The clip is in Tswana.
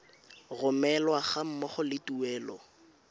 romelwa ga mmogo le tuelo